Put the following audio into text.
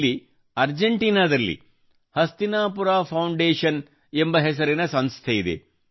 ಇಲ್ಲಿ ಅರ್ಜೆಂಟಿನ ನಲ್ಲಿ ಹಸ್ತಿನಾಪುರ ಫೌಂಡೇಷನ್ ಎಂಬ ಹೆಸರಿನ ಸಂಸ್ಥೆಯಿದೆ